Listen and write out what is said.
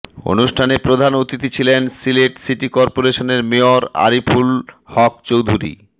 অনুষ্ঠানে প্রধান অতিথি ছিলেন সিলেট সিটি করপোরেশনের মেয়র আরিফুল হক চৌধুরী